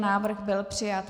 Návrh byl přijat.